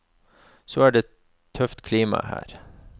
Så er det tøft klima her.